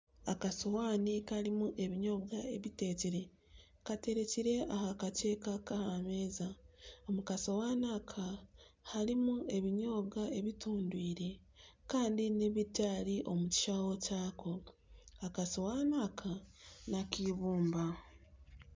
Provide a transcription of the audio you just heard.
Akasuwani karimu ebinyobwa ebiteekire katerekire aha kakyeeka k'aha meeza omu kasuwani aka harimu ebinyobwa ebitondwire kandi n'ebikyari omu kishaho kyako akasuwani aka nakaibumba.